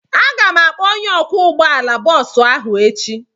Aga m akpọ onye ọkwọ ụgbọala bọọsụ ahụ echi.